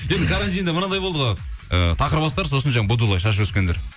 енді карантинде мынандай болды ғой ы тақырбастар сосын жаңа будулай шаш өскендер